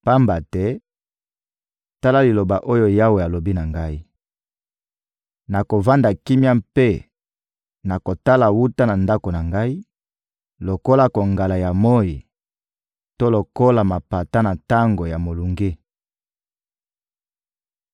Pamba te, tala liloba oyo Yawe alobi na ngai: «Nakovanda kimia mpe nakotala wuta na ndako na Ngai, lokola kongala ya moyi to lokola mapata na tango ya molunge.»